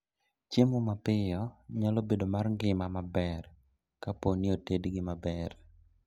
Chiemo mapiyo nyalo bedo mar ngima maber kaponi otedgi maber